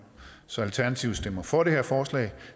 så alternativet stemmer for det her forslag